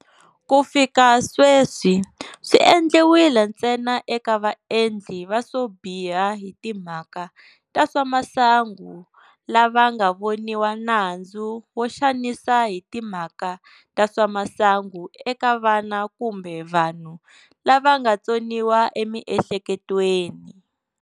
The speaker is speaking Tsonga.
Ku fika sweswi, swi endliwile ntsena eka vaendli va swo biha hi timhaka ta swa masangu lava nga voniwa nandzu wo xanisa hi timhaka ta swa masangu eka vana kumbe vanhu lava nga tsoniwa emiehleketweni.